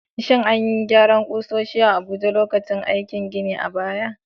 Shin an yi aikin gyaran ƙusoshin a Abuja lokacin aikin gini a baya?